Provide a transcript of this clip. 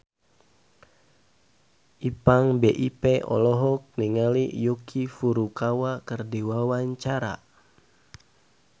Ipank BIP olohok ningali Yuki Furukawa keur diwawancara